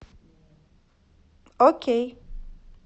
окей